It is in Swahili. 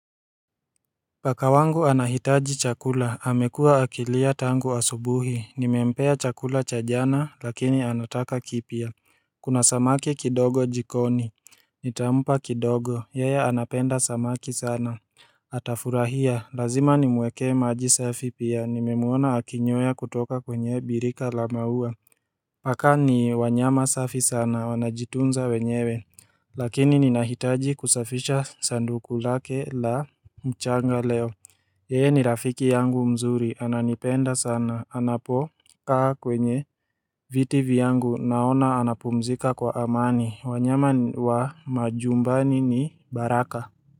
Paka wangu anahitaji chakula, amekuwa akilia tangu asubuhi, nimempea chakula cha jana lakini anataka kipya. Kuna samaki kidogo jikoni. Nitampa kidogo, yeye anapenda samaki sana. Atafurahia, lazima nimwekee maji safi pia, nimemuona akinywea kutoka kwenye birika la maua. Paka ni wanyama safi sana, wanajitunza wenyewe. Lakini ninahitaji kusafisha sanduku lake la mchanga leo. Yeye ni rafiki yangu mzuri, ananipenda sana, anapokaa kwenye viti vyangu naona anapumzika kwa amani, wanyama wa majumbani ni baraka.